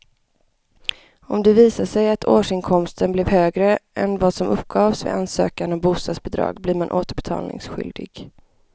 Om det visar sig att årsinkomsten blev högre än vad som uppgavs vid ansökan om bostadsbidrag blir man återbetalningsskyldig.